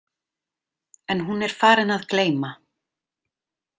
En hún er farin að gleyma.